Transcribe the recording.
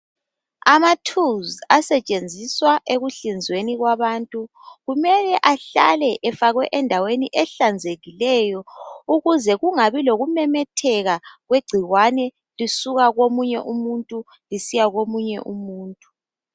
Amathulisi asetshenziswa ekuhlinzweni kwabantu kumele ahlale efakwe endaweni ehlanzekileyo ukuze kungabe lokumemetheka kwegcikwane lisuka komunye umuntu lisiya komunye umuntu.